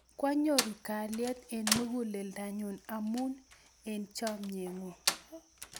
Kwanyoru kalyet eng' muguleldanyu amun chomye ng'ung'.